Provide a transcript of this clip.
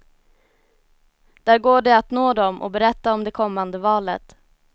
Där går det att nå dem och berätta om det kommande valet.